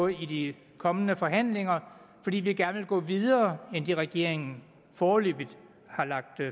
i de kommende forhandlinger fordi vi gerne vil gå videre end det regeringen foreløbig har lagt